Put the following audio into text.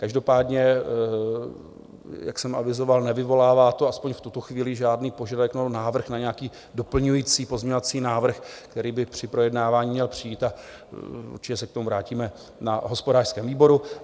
Každopádně jak jsem avizoval, nevyvolává to, aspoň v tuto chvíli, žádný požadavek nebo návrh na nějaký doplňující pozměňovací návrh, který by při projednávání měl přijít, a určitě se k tomu vrátíme na hospodářském výboru.